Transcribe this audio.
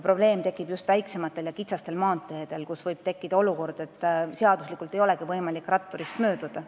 Probleem on just väiksemate teede ja kitsaste maanteedega, kus võib tekkida olukord, et ratturist ei olegi võimalik seaduslikult mööduda.